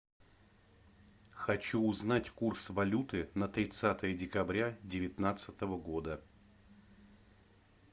хочу узнать курс валюты на тридцатое декабря девятнадцатого года